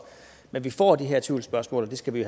men vi får de her tvivlsspørgsmål og det skal vi